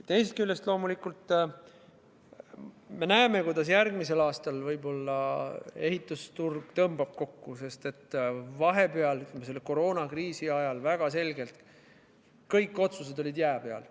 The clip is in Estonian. Teisest küljest me loomulikult näeme, kuidas järgmisel aastal võib ehitusturg kokku tõmbuda, sest vahepeal, selle koroonakriisi ajal olid väga selgelt kõik otsused n-ö jää peal.